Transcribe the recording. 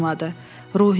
Ruhiyyə?